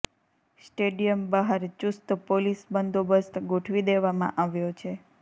stadium બહાર ચુસ્ત police બંદોબસ્ત ગોઠવી દેવામાં આવ્યો છે